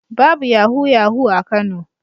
Babu yahu-yahu a Kano.